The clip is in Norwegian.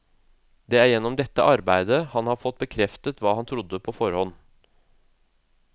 Det er gjennom dette arbeidet han har fått bekreftet hva han trodde på forhånd.